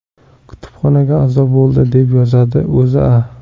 Kutubxonaga a’zo bo‘ldi, deb yozadi O‘zA.